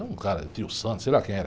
Era um cara, tio Sam, sei lá quem era.